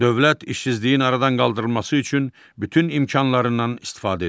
Dövlət işsizliyin aradan qaldırılması üçün bütün imkanlarından istifadə edir.